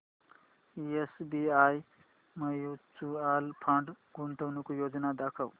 SBI mutual fund गुंतवणूक योजना दाखव